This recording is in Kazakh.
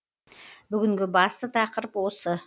бүгінгі басты тақырып осы